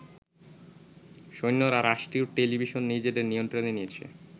সৈন্যরা রাষ্ট্রীয় টেলিভিশন নিজেদের নিয়ন্ত্রণে নিয়েছে।